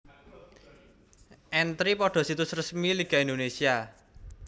Entri pada situs resmi Liga Indonesia